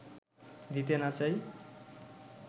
দিতে না চাই